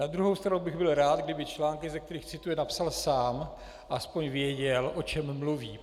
Na druhou stranu bych byl rád, kdyby články, ze kterých cituje, napsal sám, aspoň věděl, o čem mluví.